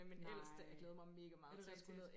Nej er det rigtigt hvor skal I hen